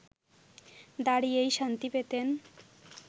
দাঁড়িয়েই শান্তি পেতেন